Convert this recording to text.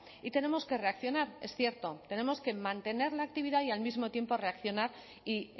y tenemos que reaccionar es cierto tenemos que mantener la actividad y al mismo tiempo reaccionar y